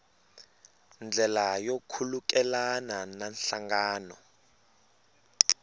ndlela yo khulukelana na nhlangano